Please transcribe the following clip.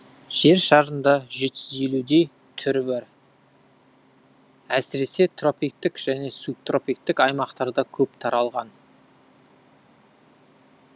жер шарында жеті жүз елудей түрі бар әсіресе тропиктік және субтропиктік аймақтарда көп таралған